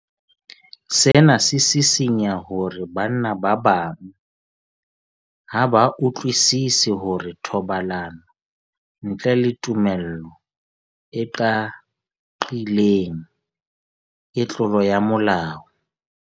Sena se sisinya hore banna ba bang ha ba utlwisisi hore thobalano ntle le tumello e qaqileng ke tlolo ya molao.